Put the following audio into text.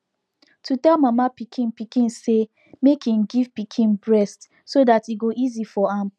to tell mama pikin pikin say make im give pikin breast so that e go easy for am